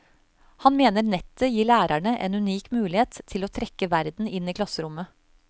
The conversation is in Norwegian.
Han mener nettet gir lærerne en unik mulighet til å trekke verden inn i klasserommet.